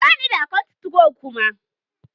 Bani da account 2go kuma